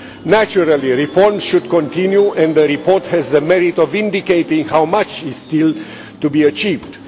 Naturally, reforms should continue and the report has the merit of indicating how much is still to be achieved.